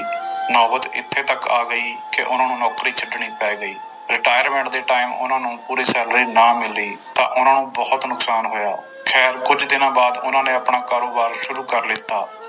ਨੋਬਤ ਇੱਥੇ ਤੱਕ ਆ ਗਈ ਕਿ ਉਹਨਾਂ ਨੂੰ ਨੌਕਰੀ ਛੱਡਣੀ ਪੈ ਗਈ retirement ਦੇ time ਉਹਨਾਂ ਨੂੰ ਪੂਰੀ salary ਨਾ ਮਿਲੀ ਤਾਂ ਉਹਨਾਂ ਨੂੰ ਬਹੁਤ ਨੁਕਸਾਨ ਹੋਇਆ, ਖੈਰ ਕੁੱਝ ਦਿਨਾਂ ਬਾਅਦ ਉਹਨਾਂ ਨੇ ਆਪਣਾ ਕਾਰੋਬਾਰ ਸ਼ੁਰੂ ਕਰ ਲਿੱਤਾ।